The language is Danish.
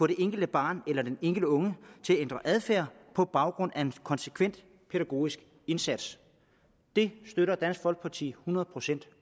det enkelte barn eller den enkelte unge til at ændre adfærd på baggrund af en konsekvent pædagogisk indsats det støtter dansk folkeparti hundrede procent